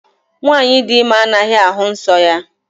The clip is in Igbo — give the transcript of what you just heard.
Nwaanyị dị ime anaghị ahụ nsọ ya.